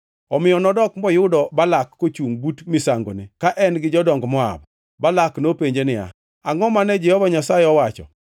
Omiyo nodok moyudo Balak kochungʼ but misangone, ka en-gi jodong Moab. Balak nopenje niya, “Angʼo mane Jehova Nyasaye owacho?”